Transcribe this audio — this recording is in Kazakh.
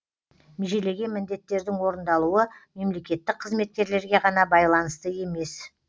межелеген міндеттердің орындалуы мемлекеттік қызметкерлерге ғана байланысты емес